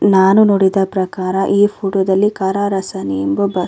ನಾನು ನೋಡಿದ ಪ್ರಕಾರ ಈ .]